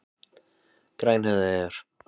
Grænhöfðaeyjar